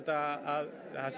að það sé